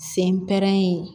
Sen pɛrɛnnen